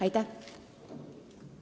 Aitäh!